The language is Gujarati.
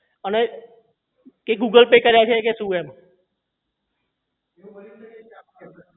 અને એ google pay કર્યા છે કે શું એમ